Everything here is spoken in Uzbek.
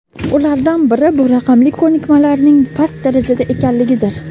Ulardan biri bu raqamli ko‘nikmalarning past darajada ekanligidir.